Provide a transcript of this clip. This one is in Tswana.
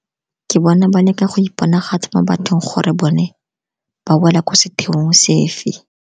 Ke bona ba leka go iponagatsa mo bathong gore bone ba wela ko setheong sefe.